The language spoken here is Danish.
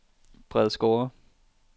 Bredsgårde